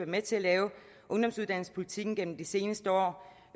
med til at lave ungdomsuddannelsespolitikken gennem de seneste år